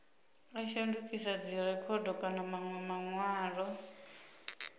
a shandukisa dzirekhodo kana manwe manwalo